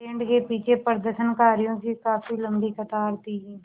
band के पीछे प्रदर्शनकारियों की काफ़ी लम्बी कतार थी